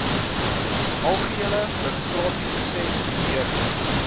algehele registrasieproses deurloop